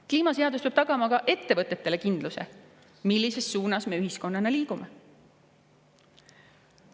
Kliimaseadus peab tagama ka ettevõtetele kindluse, millises suunas me ühiskonnana liigume.